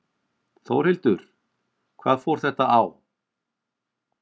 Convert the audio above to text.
Þórhildur: Hvað fór þetta á?